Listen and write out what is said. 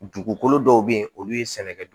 Dugukolo dɔw be yen olu ye sɛnɛkɛ